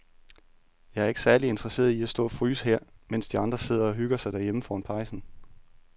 Jeg er ikke særlig interesseret i at stå og fryse her, mens de andre sidder og hygger sig derhjemme foran pejsen.